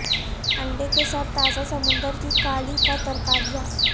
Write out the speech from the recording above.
انڈے کے ساتھ تازہ سمندر کی کالی کا ترکاریاں